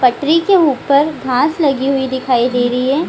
पटरी के उपर घास लगी हुई दिखाई दे रही है।